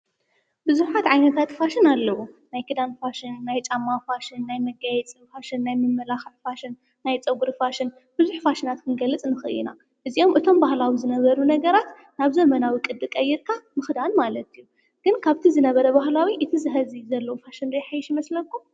ብዙሓት ዓይነታት ፋሽን ኣለዉ፡፡ ናይ ከዳን ፋሽን፣ ናይ ጫማ ፋሽን፣ ናይ መጋየፂ ፋሽን፣ ናይ ምምልካዕ ፋሽን፣ ናይ ፀጕሪ ፋሽን፣ ብዙሕ ፋሽናት ክንገልፅ ንኽእል ኢና፡፡ እዚኣቶም ባህላዊ ዝነበሩ ነገራት ናብ ዘመናዊ ቕዲ ቐይርካ ምኽዳን ማለት እዩ፡፡ ግን ካብቲ ዝነበረ ባህላዊ እቲ ሕዚ ዘለዉ ፋሽን ዶ ይሐይሽ ዶ ይመስለኩም?